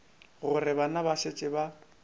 gore bana ba šetše ba